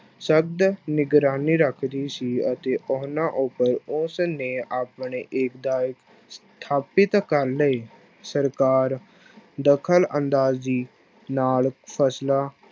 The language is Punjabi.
ਸਖਤ ਨਿਗਰਾਨੀ ਰੱਖਦੀ ਸੀ ਅਤੇ ਉਹਨਾਂ ਉੱਪਰ ਉਸ ਨੇ ਆਪਣੇੇ ਏਕਤਾ ਸਥਾਪਿਤ ਕਰ ਲਏ, ਸਰਕਾਰ ਦਖ਼ਲ ਅੰਦਾਜ਼ੀ ਨਾਲ ਫਸਲਾਂ